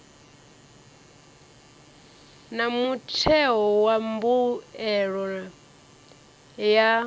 na mutheo wa mbuelo ya